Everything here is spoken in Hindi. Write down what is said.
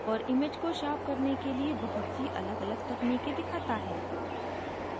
और image को sharpen करने के लिए बहुत सी अलगअलग techniques दिखाता है